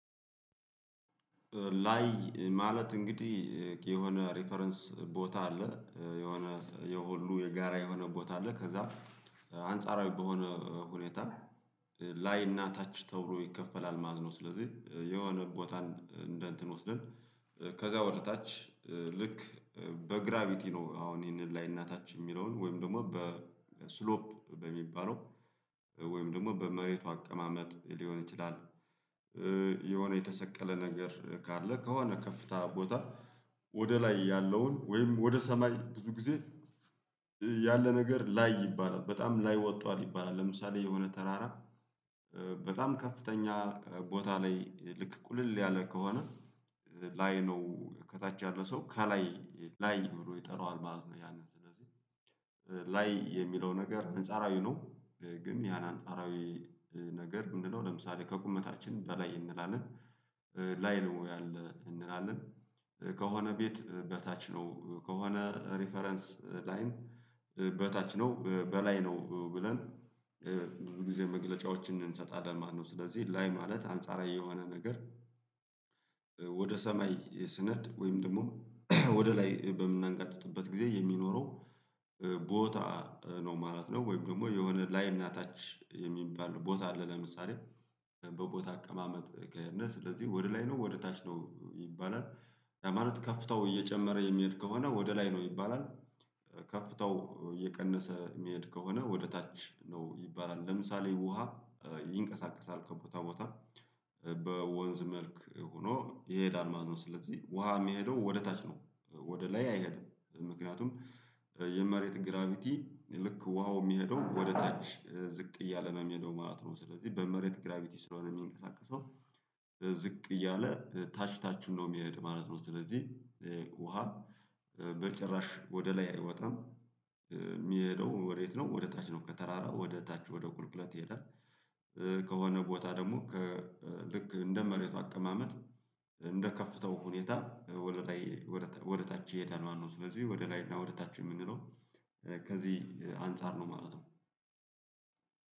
ላይ ማለት እንግዲህ የሆነ ሪፈረንስ ቦታ አለ የሆነ የሁሉ የጋራ የሆነ ቦታ አለ ከዛ አንጻራዊ በሆነ ሁኔታ ላይና ታች ተብሎ ይከፈላል ማለት ነው። ስለዚህ የሆነ ቦታን እንደ እንትን ወስደን ከዛ ወደ ታች ልክ በግራቪቲ ነው አሁን ይሄንን ላይ እና ታች የሚለውን ወይም ደግሞ በስሎፕ በሚባለው ወይም ደግሞ በመሬቱ አቀማመጥ ሊሆን ይችላል የሆነ የተሰቀለ ነገር ካለ ከሆነ ከፍታ ቦታ ወደ ላይ ያለውን ወይም ወደ ሰማይ ብዙ ጊዜ ያለ ነገር ላይ ይባላል በጣም ላይ ወጥቷል ይባላል ለምሳሌ የሆነ ተራራ በጣም ከፍተኛ ቦታ ላይ ልክ ቁልል ያለ ከሆነ ላይ ነው ከታች ያለው ሰው ከላይ ላይ ብሎ ይጠራዋል ማለት ነው ያንን ላይ የሚለው ነገር አንጻራዊ ነው። ግን ያን አንጻራዊ ነገር ምንድነው ለምሳሌ ከቁመታችን በላይ እንላለን፣ ላይ ነው ያለ እንላለን፣ ከሆነ ቤት በታች ነው፣ ከሆነ ሪፈረንስ ላይ ላይም በታች ነው፣ በላይ ነው ብለን ብዙ ጊዜ መግለጫዎችን እንሰጣለን ማለት ነው። ስለዚህ ላይ ማለት አንጻራዊ የሆነ ነገር ወደ ሰማይ ስንኸድ ወይም ደግሞ ወደ ላይ በምናንጋጥጥበት ጊዜ የሚኖረው ቦታ ነው ማለት ነው ወይም ደግሞ የሆነ ላይና ታች የሚባል ቦታ አለ ለምሳሌ በቦታ አቀማመጥ ከሄድነ። ስለዚህ ወደ ላይ ነው ወደ ታች ነው ይባላል ያ ማለት ከፍታው እየጨመረ የሚሄድ ከሆነ ወደ ላይ ነው ይባላል ከፍታው እየቀነሰ ሚሄድ ከሆነ ወደ ታች ነው ይባላል። ለምሳሌ ውሃ ይንቀሳቀሳል ከቦታ ቦታ በወንዝ መልክ ሆኖ ይሄዳል ማለት ነው። ስለዚህ ውሃ ሚሄደው ወደ ታች ነው ወደ ላይ አይሄድም ምክንያቱም የመሬት ግራቪቲ ልክ ውሃው ሚሄደው ወደ ታች ዝቅ እያለ ነው የሚሄደው ማለት ነው። ስለዚህ በመሬት ግራቪቲ ስለሆነ የሚንቀሳቀሰው ዝቅ እያለ ታች ታቹን ነው የሚሄድ ማለት ነው። ስለዚህ ውሃ በጭራሽ ወደ ላይ አይወጣም፣ የሚሄደው ወዴት ነው ወደ ታች ነው። ከተራራ ወደ ታች ወደ ቁልቁለት ይሄዳል። ከሆነ ቦታ ደግሞ ከልክ እንደ መሬቱ አቀማመጥ እንደ ከፍታው ሁኔታ ወደ ላይ ወደ ታች ይሄዳል ማለት ነው። ስለዚህ ወደ ላይ እና ወደ ታች የምንለው ከዚህ አንፃር ነው ማለት ነው።